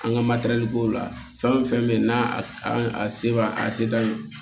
An ka ko la fɛn o fɛn bɛ yen n'a se b'a a ye